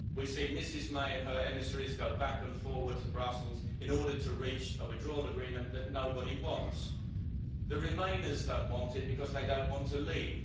We've seen Ms May and her emissaries go back and forward to Brussels in order to reach a withdrawal agreement that nobody wants. The remainers don't want it because they don't want to leave.